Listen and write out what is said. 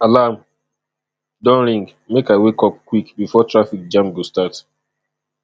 alarm don ring make i wake up quick before traffic jam go start